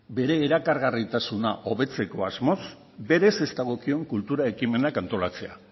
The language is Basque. bere erakargarritasuna hobetzeko asmoz berez ez dagokion kultura ekimenak antolatzea